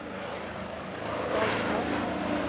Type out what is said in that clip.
Hvalstad